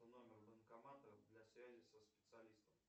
номер банкомата для связи со специалистом